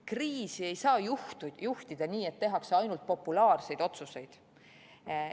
Kriisi ei saa juhtida nii, et tehakse ainult populaarseid otsuseid.